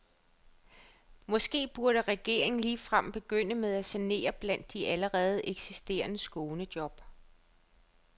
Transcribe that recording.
Måske burde regeringen ligefrem begynde med at sanere blandt de allerede eksisterende skånejob.